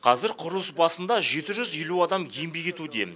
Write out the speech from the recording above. қазір құрылыс басында жеті жүз елу адам еңбек етуде